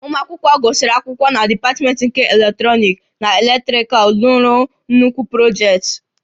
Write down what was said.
Ụmụ akwụkwọ gụsịrị akwụkwọ na dipatmentị nke Eletrọnịkị na Elektrikal lụrụ nnukwu projektị